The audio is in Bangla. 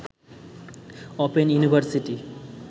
open university